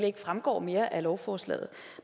ikke fremgår mere af lovforslaget